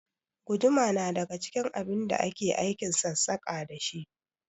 Guduma na daga cikin abin da ake aikin sassaƙa dashi